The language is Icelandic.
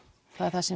það er það sem